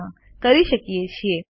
હા કરી શકીએ છીએ